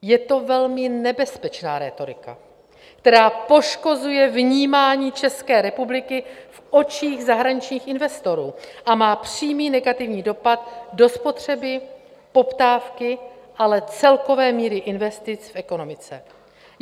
Je to velmi nebezpečná rétorika, která poškozuje vnímání České republiky v očích zahraničních investorů a má přímý negativní dopad do spotřeby, poptávky, ale celkové míry investic v ekonomice.